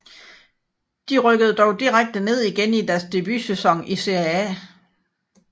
De rykkede dog direkte ned igen i deres debutsæson i Serie A